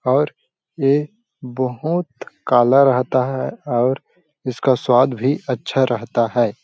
और ये बहोत काला रहता है और इसका सवाद भी अच्छा रहता हैं ।